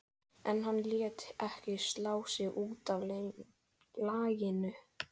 En Halli lét ekki slá sig út af laginu.